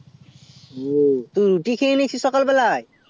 ও তুই রুটি খেয়ে নিয়েছিস সকাল বেলাই